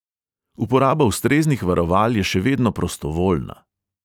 Uporaba ustreznih varoval je še vedno prostovoljna.